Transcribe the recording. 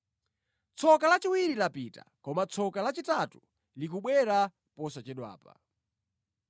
Tsoka lachiwiri lapita; koma tsoka lachitatu likubwera posachedwapa.